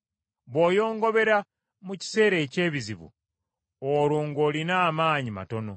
Bw’oyongobera mu kiseera eky’ebizibu, olwo ng’olina amaanyi matono!